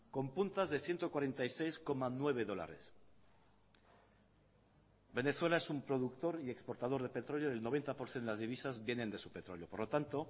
con puntas de ciento cuarenta y seis coma nueve dólares venezuela es un productor y exportador de petróleo y el noventa por ciento de las divisas vienen de su petróleo por lo tanto